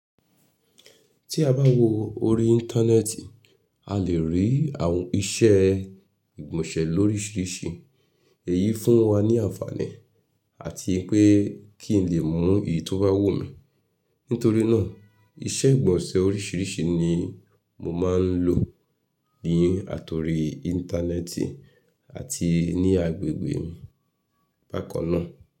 Tí a bá wo orí Íńtánẹ́ẹ̀tì, a lè rí àwọn iṣẹ́ ìgbọ̀nsẹ̀ lórísìíríìsí. Èyí fún wa ní àǹfààní àti pé kí n lè mu èyí tó bá wù mí. Nítorí náà, iṣẹ́ ìgbọ̀nsẹ̀ orísìíríìsí ní mo máa ń lò ní àtòrí Íńtánẹ́ẹ̀tì àti ní agbègbè mi bákan náà.